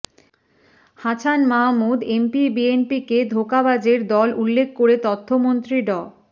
Hasan Mahmud MP বিএনপিকে ধোঁকাবাজের দল উল্লেখ করে তথ্যমন্ত্রী ড